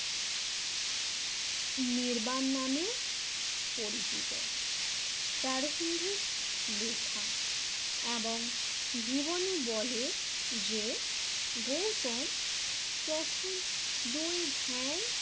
নির্বান নামে পরিচিত প্রারম্ভিক লেখা এবং জীবনী বলে যে গৌতম প্রথম দুই ধ্যান